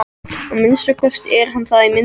Að minnsta kosti er hann það í myndunum.